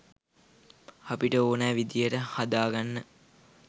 අපිට ඕන විදිහට හදාගන්න.